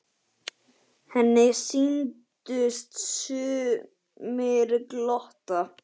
Henni sýndust sumir glotta.